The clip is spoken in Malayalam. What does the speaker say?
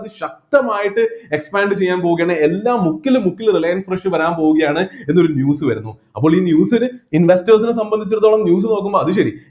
അതിശക്തമായിട്ട് expand ചെയ്യാൻ പോവുകയാണ് എല്ലാ മുക്കിലും മുക്കിലും റിലയൻസ് fresh വരാൻ പോവുകയാണ് എന്നൊരു news വരുന്നു അപ്പോള് ഈ news ൽ investors നെ സംബദ്ധിച്ചിടത്തോളം news നോക്കുമ്പോ അത് ശരി